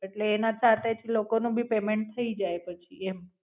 એટલે એના સાથે જ લોકો નું ભી Payment થઈ જાય પછી એમ.